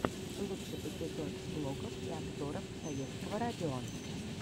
лучший эпизод блогов и обзоров советского радио